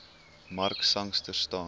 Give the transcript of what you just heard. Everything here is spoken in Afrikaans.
mark sangster staan